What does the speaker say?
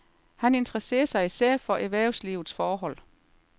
Han interesserer sig især for erhvervslivets forhold.